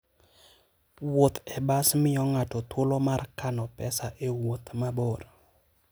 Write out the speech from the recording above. Wuoth e bas miyo ng'ato thuolo mar kano pesa e wuoth mabor.